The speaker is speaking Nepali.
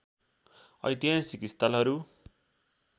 ऐतिहासिक स्थलहरू